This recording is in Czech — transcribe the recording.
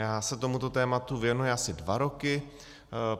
Já se tomuto tématu věnuji asi dva roky.